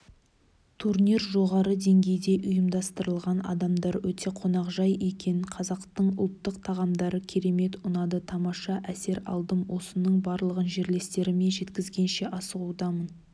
турнир жоғары деңгейде ұйымдастырылған адамдар өте қонақжай екен қазақтың ұлттық тағамдары керемет ұнады тамаша әсер алдым осының барлығын жерлестеріме жеткізгенше асығудамын